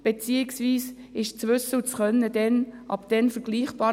Beziehungsweise, ist das Wissen und Können ab dann miteinander vergleichbar?